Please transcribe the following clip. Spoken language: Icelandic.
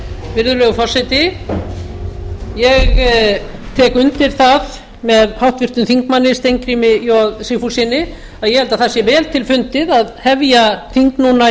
virðulegur forseti ég tek undir það með háttvirtum þingmanni steingrími j sigfússyni að ég held að það sé vel til fundið að hefja þing núna